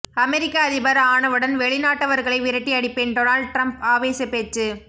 அமெரிக்க அதிபர் ஆனவுடன் வெளிநாட்டவர்களை விரட்டி அடிப்பேன் டொனால்ட் டிரம்ப் ஆவேச பேச்சு